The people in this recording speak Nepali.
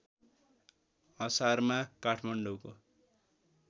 असारमा काठमाडौँको